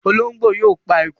Olóńgbó yóò pa eku.